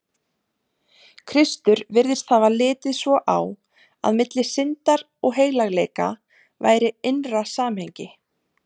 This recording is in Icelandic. Kristur virðist hafa litið svo á, að milli syndar og heilagleika væri innra samhengi.